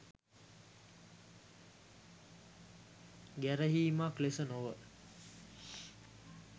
ගැරහීමක් ලෙස නොව